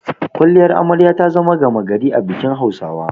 Kwalliyar Amare ta zama gama gari a bikin Hausawa.